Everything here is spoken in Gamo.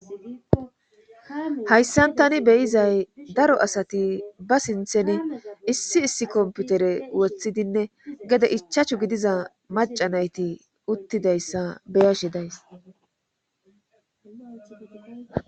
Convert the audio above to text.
Hayssan tani beyizay daro asati ba sinthen issi issi komputere woththidinne gede ichachu gidiza macanayti uttidayssa beyashi days